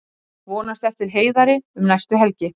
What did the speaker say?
Vonast eftir Heiðari um næstu helgi